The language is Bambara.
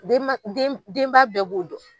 Den ma den denba bɛɛ b'o dɔn.